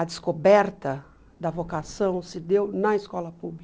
A descoberta da vocação se deu na escola pública.